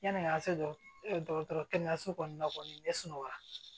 Yani an ka se dɔgɔtɔrɔ kɛnɛyaso kɔni na kɔni ne sunɔgɔra